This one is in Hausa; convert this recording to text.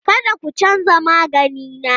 Kada ku canza magani na!